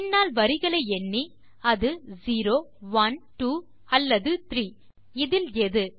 பின்னால் வரிகளை எண்ணி அது செரோ ஒனே ட்வோ அல்லது த்ரீ இதில் எது